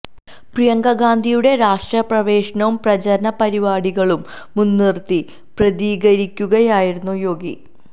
പ്രിയങ്ക ഗാന്ധിയുടെ രാഷ്ട്രീയ പ്രവേശനവും പ്രചരണ പരിപാടികളും മുന്നിര്ത്തി പ്രതികരിക്കുകയായിരുന്നു യോഗി